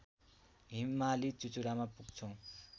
हिमाली चुचुरामा पुग्छौं